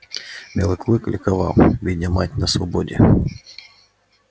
белый клык ликовал видя мать на свободе